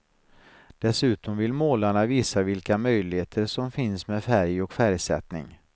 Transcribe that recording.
Dessutom vill målarna visa vilka möjligheter som finns med färg och färgsättning.